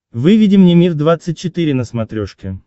выведи мне мир двадцать четыре на смотрешке